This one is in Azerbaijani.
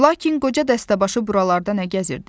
Lakin qoca dəstəbaşı buralarda nə gəzirdi?